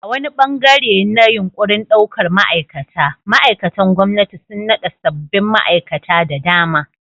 A wani ɓangare na yunƙurin ɗaukar ma'aikata, ma'aikatan gwamnati sun naɗa sabbin ma'aikata da dama.